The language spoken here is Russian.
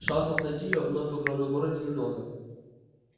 шансов найти её вновь в огромном городе немного